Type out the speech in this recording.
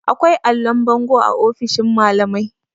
akwai allon bango a ofishin malamai